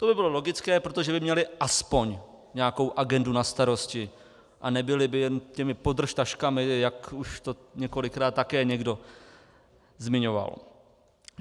To by bylo logické, protože by měli aspoň nějakou agendu na starosti a nebyli by jenom těmi "podržtaškami", jak už to několikrát také někdo zmiňoval.